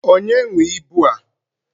Onye nwee ịbụ a?